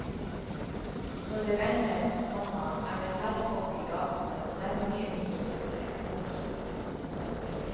Når det regner, komma er det færre folk i gatene og dermed mye mindre søppel. punktum